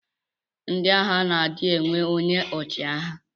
Ndi agha na adi enwe onye ọchiagha.